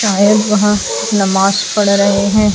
शायद वहां नमाज पढ़ रहे हैं।